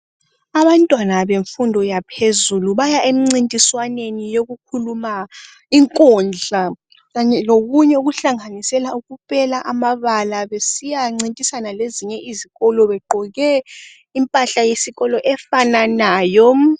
Abantwana bemfundo yaphezulu baya emncintiswaneni yokukhuluma inkundla kanye lokunye okuhlanganisela ukupela amabala besiyancintisana lezinye izikolo begqoke impahla yesikolo efananayo.